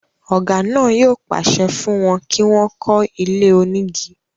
ọ̀gá náà yóò pàṣẹ fún wọn kí wọ́n kọ́ ilé onígi.